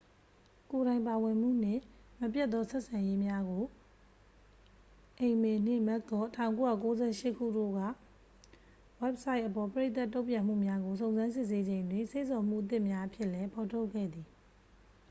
"""ကိုယ်တိုင် ပါဝင်မှု" နှင့် မပြတ်သော ဆက်ဆံရေးများ" ကို အိမ်မေနှင့် မက်ကော့ ၁၉၉၈ တို့က ဝဘ်ဆိုက်အပေါ် ပရိသတ် တုံ့ပြန်မှုများကို စုံစမ်းစစ်ဆေးချိန်တွင် စေ့ဆော်မှု အသစ်များအဖြစ်လည်း ဖော်ထုတ်ခဲ့သည်။